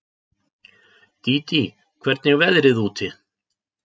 Dídí, hvernig er veðrið úti?